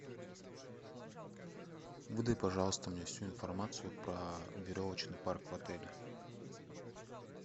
выдай пожалуйста мне всю информацию про веревочный парк в отеле